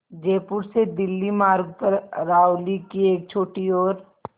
जयपुर से दिल्ली मार्ग पर अरावली की एक छोटी और